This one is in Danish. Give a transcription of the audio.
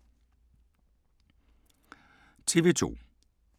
TV 2